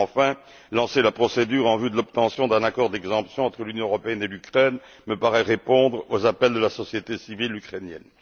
Enfin, lancer la procédure en vue de l'obtention d'un accord d'exemption entre l'Union européenne et l'Ukraine me paraît répondre aux appels de la société civile ukrainienne.